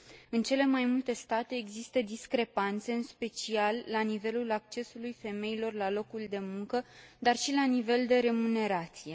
În cele mai multe state există discrepanțe, în special la nivelul accesului femeilor la locuri de muncă, dar și la nivel de remunerație.